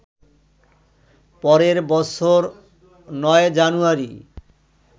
পরের বছর ৯জানুয়ারি